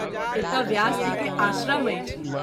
एतय व्यास जी के आश्रम अछि।